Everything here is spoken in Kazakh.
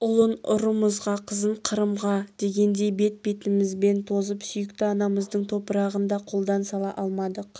ұлын ұрымға қызын қырымға дегендей бет-бетімізбен тозып сүйікті анамыздың топырағын да қолдан сала алмадық